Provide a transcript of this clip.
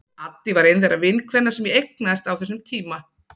Addý var ein þeirra vinkvenna sem ég eignaðist á þessum tíma.